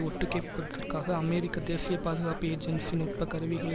ஒட்டுக்கேட்பதற்காக அமெரிக்க தேசிய பாதுகாப்பு ஏஜென்சி நுட்ப கருவிகளை